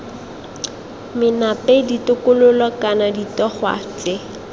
menape ditokololo kana ditogwa tse